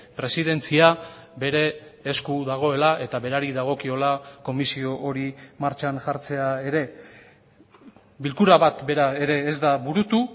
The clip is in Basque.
presidentzia bere esku dagoela eta berari dagokiola komisio hori martxan jartzea ere bilkura bat bera ere ez da burutu